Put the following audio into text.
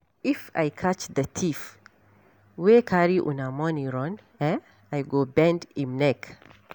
If I catch the thief wey carry una money run eh I go bend im neck.